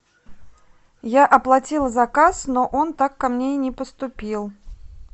я оплатила заказ но он так ко мне и не поступил